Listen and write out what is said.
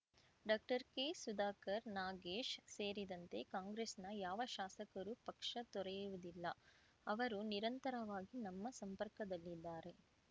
ಡಾಕ್ಟರ್ಕೆಸುಧಾಕರ್‌ ನಾಗೇಶ್‌ ಸೇರಿದಂತೆ ಕಾಂಗ್ರೆಸ್‌ನ ಯಾವ ಶಾಸಕರೂ ಪಕ್ಷ ತೊರೆಯುವುದಿಲ್ಲ ಅವರು ನಿರಂತರವಾಗಿ ನಮ್ಮ ಸಂಪರ್ಕದಲ್ಲಿದ್ದಾರೆ